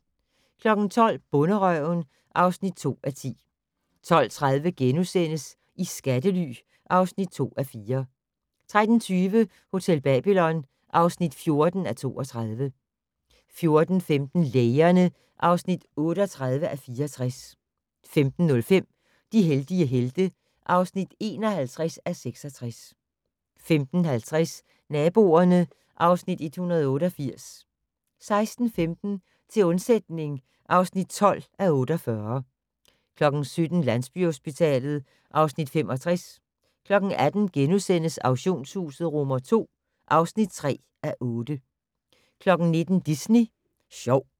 12:00: Bonderøven (2:10) 12:30: I skattely (2:4)* 13:20: Hotel Babylon (14:32) 14:15: Lægerne (38:64) 15:05: De heldige helte (51:66) 15:50: Naboerne (Afs. 188) 16:15: Til undsætning (12:48) 17:00: Landsbyhospitalet (Afs. 65) 18:00: Auktionshuset II (3:8)* 19:00: Disney Sjov